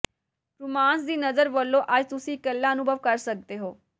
romance ਦੀ ਨਜ਼ਰ ਵਲੋਂ ਅੱਜ ਤੁਸੀ ਇਕੱਲਾ ਅਨੁਭਵ ਕਰ ਸੱਕਦੇ ਹੋ